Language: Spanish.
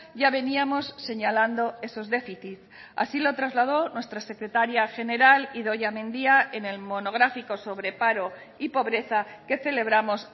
ya veníamos señalando esos déficit así lo trasladó nuestra secretaria general idoia mendia en el monográfico sobre paro y pobreza que celebramos